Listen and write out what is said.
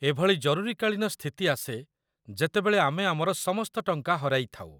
ଏଭଳି ଜରୁରୀକାଳୀନ ସ୍ଥିତି ଆସେ ଯେତେବେଳେ ଆମେ ଆମର ସମସ୍ତ ଟଙ୍କା ହରାଇଥାଉ